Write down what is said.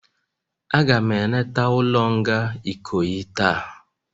Aga m eleta ulo nga Ikoyi taa